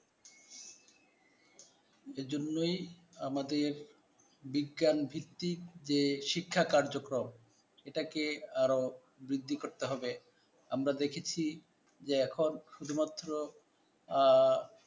জন্যই আমাদের বিজ্ঞান ভিত্তির যে শিক্ষা কার্যক্রম সেটাকে আরও বৃদ্ধি করতে হবে। আমরা দেখেছি যে এখন শুধুমাত্র আহ